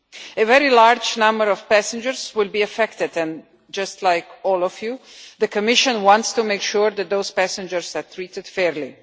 A very large number of passengers will be affected and, just like all of you, the Commission wants to make sure that those passengers are treated fairly.